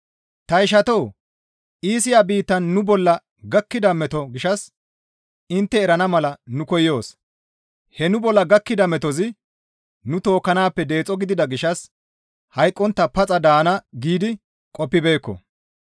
Ta ishatoo! Iisiya biittan nu bolla gakkida metoza gishshas intte erana mala nu koyoos; he nu bolla gakkida metozi nu tookkanaappe deexo gidida gishshas hayqqontta paxa daana giidi qoppibeekko.